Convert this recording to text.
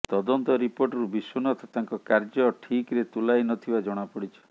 ତଦନ୍ତ ରିପୋର୍ଟରୁ ବିଶ୍ୱନାଥ ତାଙ୍କ କାର୍ଯ୍ୟ ଠିକରେ ତୁଲାଇ ନ ଥିବା ଜଣାପଡିଛି